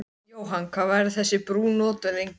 Jóhann, hvað verður þessi brú notuð lengi?